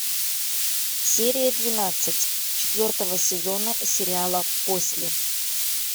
серия двенадцать четвертого сезона сериала после